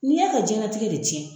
N'i y'a ka jiyanlatigɛ de cɛn.